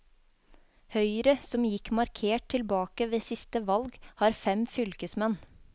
Høyre, som gikk markert tilbake ved siste valg, har fem fylkesmenn.